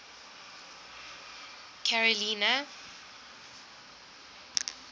carolina